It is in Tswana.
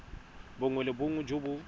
bongwe le bongwe jo bo